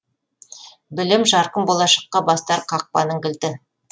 білім жарқын болашаққа бастар қақпаның кілті